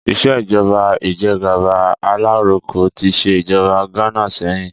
Ìṣèjọ́ba ìjẹ́gàba alaroko tí ṣe ìjọba Ghana sẹ́yìn